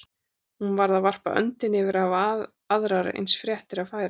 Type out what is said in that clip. Hún varð að varpa öndinni yfir að hafa aðrar eins fréttir að færa.